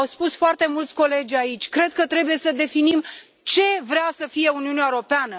Au spus foarte mulți colegi aici, cred că trebuie să definim ce vrea să fie Uniunea Europeană.